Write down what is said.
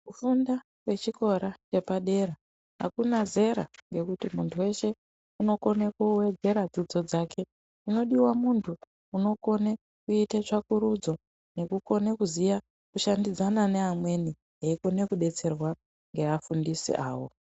Kufunda kwechikora chepadera ,akuna zera nekuti muntu weshe unokone kuwedzera fundo dzake. Chinodiwa muntu unokone kuite tsvakurudzo, nekukone kuziya kushandidzana neamweni eikone kudetserwa ngeafundisi avo.